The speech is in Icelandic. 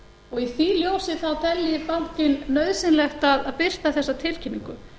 og í því ljósi þá telji bankinn nauðsynlegt að birta þessa tilkynningu